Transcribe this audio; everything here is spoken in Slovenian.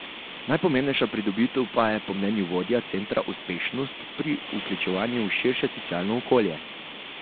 Najpomembnejša pridobitev pa je po mnenju vodja centra uspešnost pri vključevanju v širše socialno okolje.